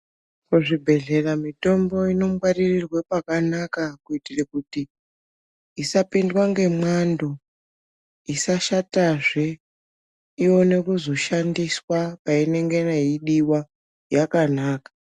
Kuzvibhedhlera mitombo inongwaririrwa pakanaka kuitira kuti isapindwa nemwando isashatazve ione kuzoshandiswa vanenge veidiwa yakanaka.